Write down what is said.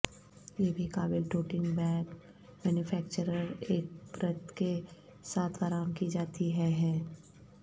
یہ بھی قابل نوٹنگ بیگ مینوفیکچرر ایک پرت کے ساتھ فراہم کی جاتی ہے ہے